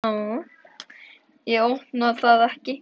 Ég opna það ekki.